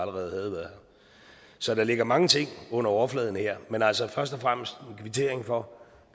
været her så der ligger mange ting under overfladen her men altså først og fremmest en kvittering for